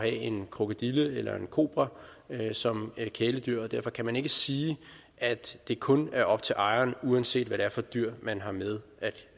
en krokodille eller en kobra som kæledyr og derfor kan man ikke sige at det kun er op til ejeren uanset hvad det er for et dyr man har med